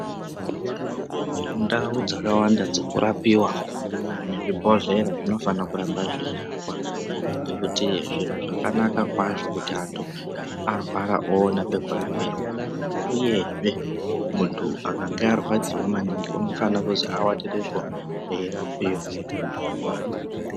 Ndau dzakawanda dzokurapiwaa nezvibhodhlera zvinofana kurambe zveirapwaa ngekuti zviro zvakanaka kwazvo kuti antu arwara oona pekurapirwaa. Uyezvee muntu akange arwadziwaa maningi unofanira kuzi avatirepo eirapiwa.